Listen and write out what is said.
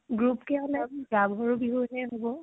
group কে হলে গাভৰু বিহুয়ে হব।